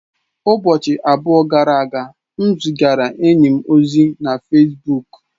Ụbọchị abụọ gara aga, m zigara enyi m ozi na Fesbuk.